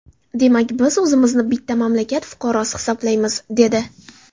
Demak, biz o‘zimizni bitta mamlakat fuqarosi hisoblaymiz”, – dedi.